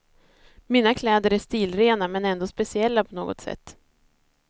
Mina kläder är stilrena men ändå speciella på något sätt.